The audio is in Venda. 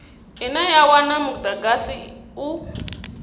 ine ya wana mudagasi u